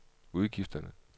udgifterne